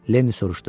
Lenni soruşdu: